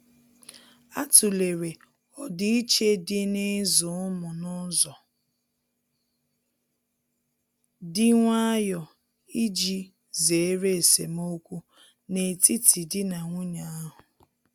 A tụ̀lere ọdiiche dị n'ịzụ ụmụ n'ụzọ dị nwayò iji zere esemokwu n'etiti di na nwunye ahu.